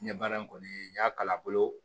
N ye baara in kɔni n y'a kalan bolo